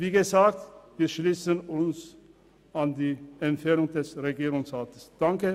Wir schliessen uns den Empfehlungen des Regierungsrats an.